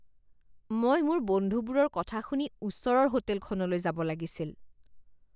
মই মোৰ বন্ধুবোৰৰ কথা শুনি ওচৰৰ হোটেলখনলৈ যাব লাগিছিল